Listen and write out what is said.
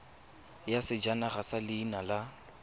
ya sejanaga ya leina la